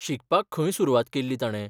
शिकपाक खंय सुरवात केल्ली ताणे?